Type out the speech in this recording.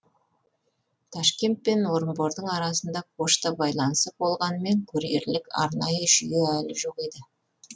ташкент пен орынбордың арасында пошта байланысы болғанымен курьерлік арнайы жүйе әлі жоқ еді